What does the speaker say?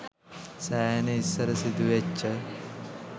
සෑහෙන ඉස්සර සිදුවෙච්ච